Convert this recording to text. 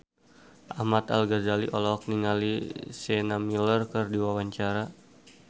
Ahmad Al-Ghazali olohok ningali Sienna Miller keur diwawancara